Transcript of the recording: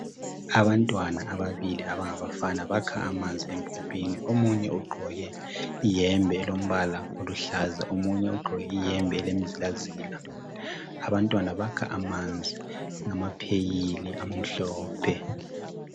Abantwana ababili abangabafana bakha amanzi empompini. Omunye ugqoke iyembe elombala oluhlaza, omunye ugqok' iyemb' elemzilazila. Abantwana bakha amanzi ngamapheyili amhlophe.